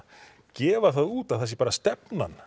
gefa það út að það sé bara stefnan